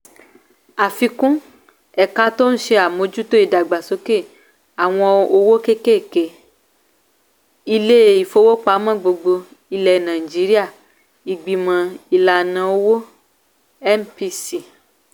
àfikún :èka tó ń ṣe àmójútó ìdàgbàsókè àwọn òwò kéékèèké (cppe) ilé ìfowópamọ́ gbogbogbòò ilẹ̀ nàìjíríà ìgbìmò ìlànà owó (mpc)